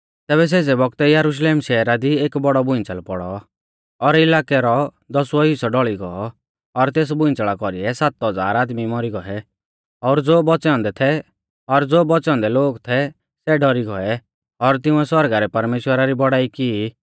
तैबै सेज़ै बौगतै यरुशलेम शैहरा दी एक बौड़ौ भूइंच़ल़ पौड़ौ और इलाकै रौ दसुऔ हिस्सौ ढौल़ी गौ और तेस भूइंच़ल़ा कौरीऐ सात हज़ार आदमी मौरी गौऐ और ज़ो बौच़ै औन्दै लोग थै सै डौरी गौऐ और तिंउऐ सौरगा रै परमेश्‍वरा री बौड़ाई की ई